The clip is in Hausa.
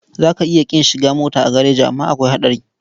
Za ka iya ƙin shiga mota a gareji amma akwai haɗari.